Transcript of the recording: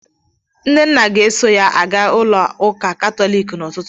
Nnenna ga-eso ya aga n'ụlọ ụka katọliki n'ụtụtụ.